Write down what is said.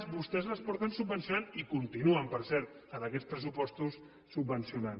vostès les han subvencionat i continuen per cert en aquests pressupostos subvencionant